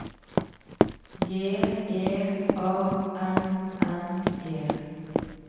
J E A N N E